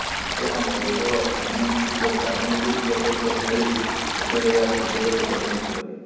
ନୂତନ କୌଶଳ ଅନିୟନ୍ତ୍ରିତ କାରଣଗୁଡ଼ିକ ସହିତ ଖେଳି ଶେଷରେ ଏହା ସୁଯୋଗରେ ପରିଣତ କରେ